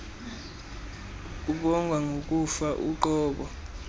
kubongwa ngokufa uqobo